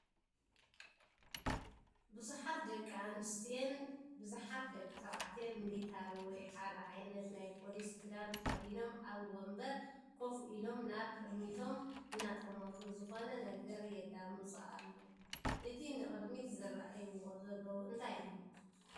ብዙሓት ደቂ ኣንስትየን ብዙሓት ደቂ ተባዕትዮን ሚሊታሪ ወይ ሓደ ዓይነት ናይ ፖሊስ ክዳን ተኸዲኖም ኣብ ወንበር ኮፍ ኢሎም ናብ ቅድሚቶም እናጠመቱ ዝኾነ ነገር የዳምፁ ኣሉ፡፡ እቲ ንቅድሚት ዝረእዎ ዘለዉ እንታይ እዩ?